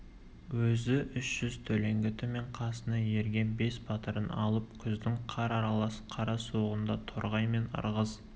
өзі үш жүз төлеңгіті мен қасына ерген бес батырын алып күздің қар аралас қара суығында торғай мен ырғыз